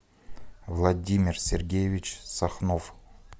владимир сергеевич сахнов